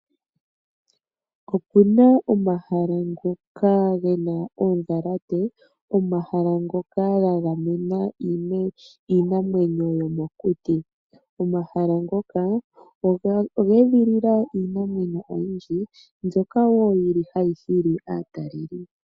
Opuna omahala ngoka gena oodhalate, omahala ngoka gagamena iinamwenyo yomokuti. Omahala ngoka oga edhilila iinamwenyo oyindji mbyoka wo yili hayi hili aataleli po.